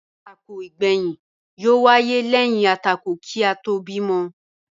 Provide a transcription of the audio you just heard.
Àtakò igbẹyin yó wáyé lẹyìn àtakò kí a tóò bímọ